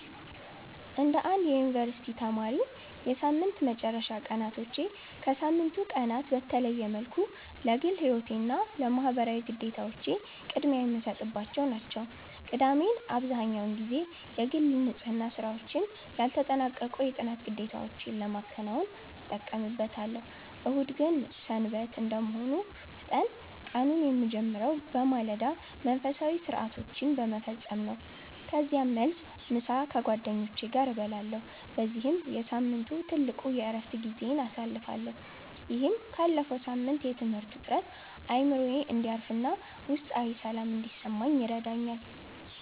እንደ አንድ የዩኒቨርሲቲ ተማሪነቴ፣ የሳምንት መጨረሻ ቀናቶቼ ከሳምንቱ ቀናት በተለየ መልኩ ለግል ሕይወቴና ለማኅበራዊ ግዴታዎቼ ቅድሚያ የምሰጥባቸው ናቸው። ቅዳሜን አብዛህኛውን ጊዜ የግል ንጽሕና ሥራዎችና ያልተጠናቀቁ የጥናት ግዴታዎቼን ለማከናወን እጠቀምበታለሁ። እሁድ ግን "ሰንበት" እንደመሆኑ መጠን፣ ቀኑን የምጀምረው በማለዳ መንፈሳዊ ሥርዓቶችን በመፈጸም ነው። ከዚያም መልስ፣ ምሳ ከጓደኞቼ ጋር እበላለሁ በዚህም የሳምንቱ ትልቁ የዕረፍት ጊዜዬን አሳልፋለሁ። ይህም ካለፈው ሳምንት የትምህርት ውጥረት አእምሮዬ እንዲያርፍና ውስጣዊ ሰላም እንዲሰማኝ ይረዳኛል።